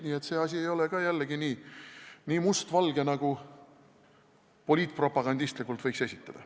Nii et see asi ei ole nii mustvalge, nagu poliitpropagandistlikult võiks esitleda.